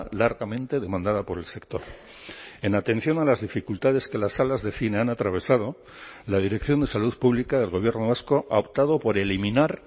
largamente demandada por el sector en atención a las dificultades que las salas de cine han atravesado la dirección de salud pública del gobierno vasco ha optado por eliminar